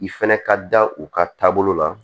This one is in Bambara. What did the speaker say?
I fɛnɛ ka da u ka taabolo la